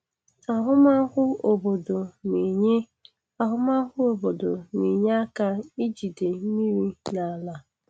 Ahụmahụ obodo na-enye Ahụmahụ obodo na-enye aka ijide mmiri n'ala.